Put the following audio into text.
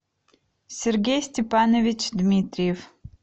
сергей степанович дмитриев